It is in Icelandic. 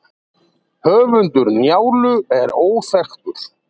höfundur njálu er óþekktur